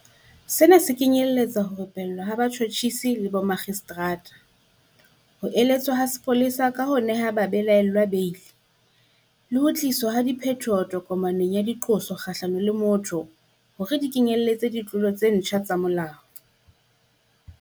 Sena se kenyeletsa ho rupellwa ha batjhotjhisi le bomakgistrata, ho eletswa ha mapolesa ka ho nehwa ha babelaellwa beili, le ho tliswa ha diphetoho tokomaneng ya diqoso kgahlano le motho hore di kenyeletse ditlolo tse ntjha tsa molao.